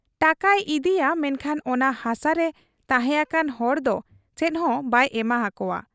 ᱴᱟᱠᱟᱭ ᱤᱫᱤᱭᱟ ᱢᱮᱱᱠᱷᱟᱱ ᱚᱱᱟ ᱦᱟᱥᱟᱨᱮ ᱛᱟᱦᱮᱸ ᱟᱠᱟᱱ ᱦᱚᱲᱫᱚ ᱪᱮᱫᱦᱚᱸ ᱵᱟᱭ ᱮᱢᱟ ᱦᱟᱠᱚᱣᱟ ᱾